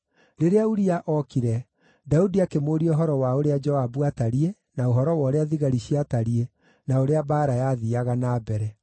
Rĩrĩa Uria ookire, Daudi akĩmũũria ũhoro wa ũrĩa Joabu aatariĩ, na ũhoro wa ũrĩa thigari ciatariĩ, na ũrĩa mbaara yathiiaga na mbere.